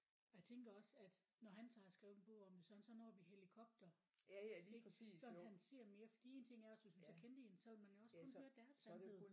Og jeg tænker også at når han tager og skrive en bog om det så er han sådan oppe i helikopter ik så kan han se mere fordi en ting er også hvis man så kendte én så ville man også kun høre deres sandhed